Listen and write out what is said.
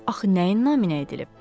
Axı nəyin naminə edilib?